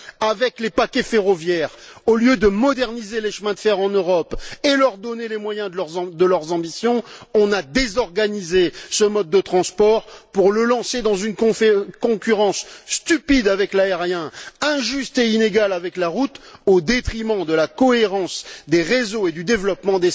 Avec les paquets ferroviaires, au lieu de moderniser les chemins de fer en Europe et de leur donner les moyens de leurs ambitions, on a désorganisé ce mode de transport pour le lancer dans une concurrence stupide avec l'aérien, injuste et inégale avec la route, au détriment de la cohérence des réseaux et du développement